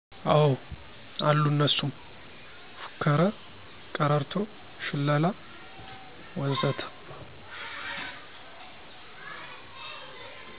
አዎ አሉ እነሱም፦ ፉከረ፣ ቀረርቶ፣ ሽለላ... ወዘተ